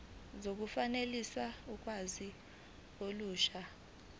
zokufakelwa kolwazi olusha